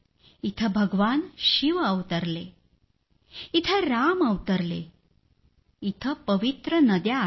इथं भगवान शिव अवतरले इथं राम अवतरले इथं पवित्र नद्या आहेत